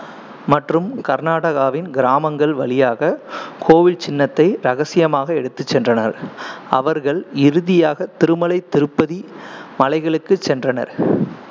மற்றும் கர்நாடகாவின் கிராமங்கள் வழியாக கோவில் சின்னத்தை ரகசியமாக எடுத்துச் சென்றனர். அவர்கள் இறுதியாக திருமலை திருப்பதி மலைகளுக்குச் சென்றனர்